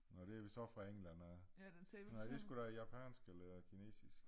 Nå det så fra england af